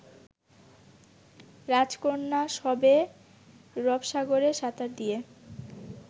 রাজকন্যা সবে রপসাগরে সাঁতার দিয়ে